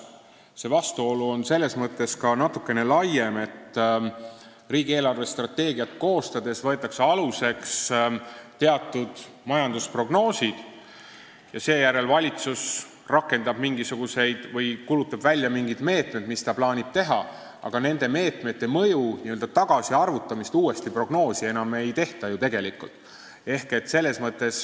See vastuolu on ka natukene laiem selles mõttes, et riigi eelarvestrateegiat koostades võetakse aluseks teatud majandusprognoosid ja seejärel kuulutab valitsus välja mingid meetmed, mida ta plaanib võtta, aga nende meetmete mõju n-ö tagasiarvutamist prognoosi enam ei tehta.